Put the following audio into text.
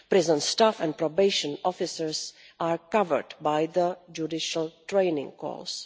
Prison staff and probation officers are covered by the judicial training course.